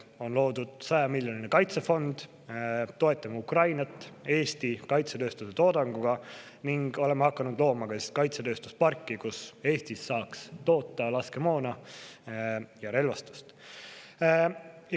On loodud 100 miljoni eurone kaitsefond, toetame Ukrainat Eesti kaitsetööstuse toodanguga ning oleme hakanud looma Eestis kaitsetööstusparki, kus saaks toota laskemoona ja relvastust.